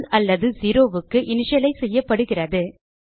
நல் அல்லது zeroக்கு இனிஷியலைஸ் செய்யப்படுகிறது